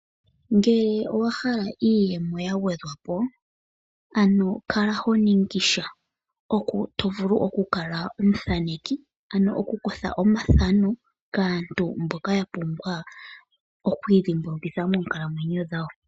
Ngele owa hala iiyemo ya gwedhwapo ano kala ho ningi sha hoka to vulu okukala omuthaneki ano okukutha omathano kaantu mboka ya pumbwa okwiidhimbulukitha moonkalamwenyo dhawo.